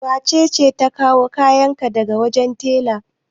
Wace ce ta kawo kayan ka daga wajen tela?